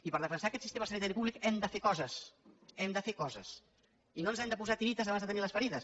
i per defensar aquest sistema sanitari públic hem de fer coses hem de fer coses i no ens hem de posar tiretes abans de tenir les ferides